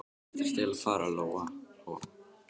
Hvert ertu eiginlega að fara, Lóa Lóa?